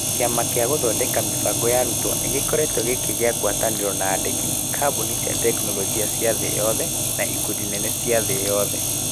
Kĩama gĩa gũthondeka mĩbango ya arutwo nĩ gĩkoretwo gĩkĩgĩa ngwatanĩro na aandĩki, kambuni cia tekinoronjĩ cia thĩ yothe, na ikundi nene cia thĩ yothe.